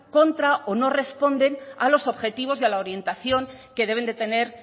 contra o no responden a los objetivos y a la orientación que deben de tener